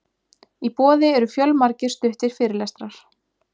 Í boði eru fjölmargir stuttir fyrirlestrar.